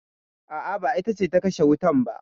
A'a, ba ita ce ta kashe wutan ba.